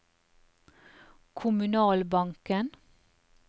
kommunalbanken